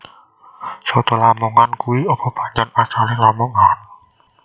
Soto lamongan kui opo pancen asale Lamongan?